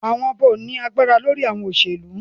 Awọn ọba o ni agbara lori awọn oselu